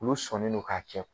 Ulu sɔnnen do k'a kɛ